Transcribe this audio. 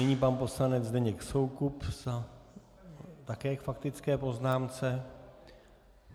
Nyní pan poslanec Zdeněk Soukup také k faktické poznámce.